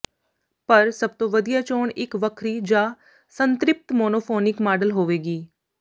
ਪਰ ਸਭ ਤੋਂ ਵਧੀਆ ਚੋਣ ਇਕ ਵੱਖਰੀ ਜਾਂ ਸੰਤ੍ਰਿਪਤ ਮੋਨੋਫੋਨੀਕ ਮਾਡਲ ਹੋਵੇਗੀ